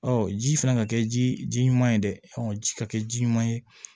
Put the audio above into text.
ji fana ka kɛ ji ɲuman ye dɛ ɔ ji ka kɛ ji ɲuman ye